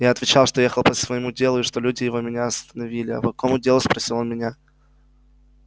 я отвечал что ехал по своему делу и что люди его меня остановили а по какому делу спросил он меня